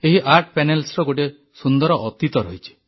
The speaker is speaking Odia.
ଏହି ଆର୍ଟ ପ୍ୟାନେଲ୍ସର ଗୋଟିଏ ସୁନ୍ଦର ଅତୀତ ରହିଛି